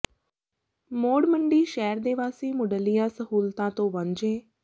ਮੌੜ ਮੰਡੀ ਸ਼ਹਿਰ ਦੇ ਵਾਸੀ ਮੁਢਲੀਆਂ ਸਹੂਲਤਾਂ ਤੋਂ ਵਾਂਝੇ